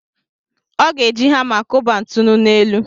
Ọ ga-eji hama kụba ntụnụ n'elu.